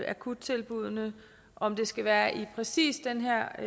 akuttilbuddene om det skal være i præcis den her